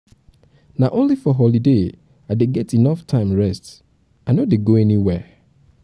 na only for holiday i dey get enough time rest i no dey go anywhere.